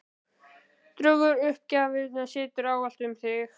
Draugur uppgjafarinnar situr ávallt um þig.